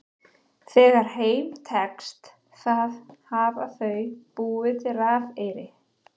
Þegar þeim tekst það hafa þau búið til rafeyri.